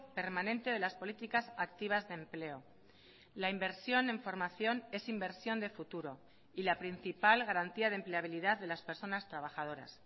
permanente de las políticas activas de empleo la inversión en formación es inversión de futuro y la principal garantía de empleabilidad de las personas trabajadoras